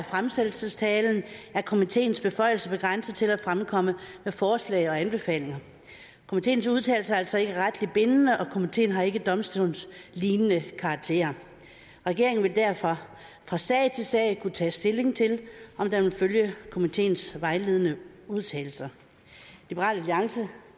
fremsættelsestalen er komiteens beføjelser begrænset til at fremkomme med forslag og anbefalinger komiteens udtalelser er altså ikke retligt bindende og komiteen har ikke domstolslignende karakter regeringen vil derfor fra sag til sag kunne tage stilling til om den vil følge komiteens vejledende udtalelser liberal alliance